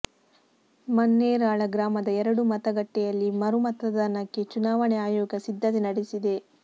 ಮನ್ನೇರಾಳ ಗ್ರಾಮದ ಎರಡು ಮತಗಟ್ಟೆಯಲ್ಲಿ ಮರು ಮತದಾನಕ್ಕೆ ಚುನಾವಣೆ ಆಯೋಗ ಸಿದ್ಧತೆ ನಡೆಸಿದೆ